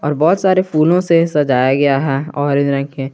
और बहोत सारे फूलों से सजाया गया है ऑरेंज रंग के।